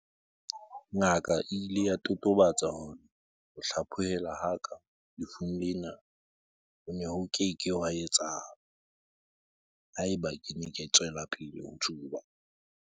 "Ngaka e ile ya totobatsa hore ho hlaphohelwa ha ka lefung lena ho ne ho ke ke hwa etsahala haeba ke ne ke tswela pele ho tsuba."